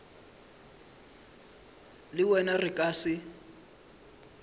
le wena re ka se